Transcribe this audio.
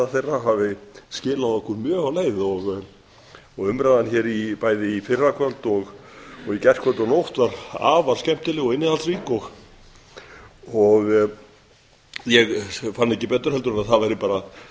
þeirra hafi skilað okkur mjög á leið umræðan hér bæði í fyrrakvöld og í gærkvöldi og nótt var afar skemmtileg og innihaldsrík ég fann ekki betur en að það væri bara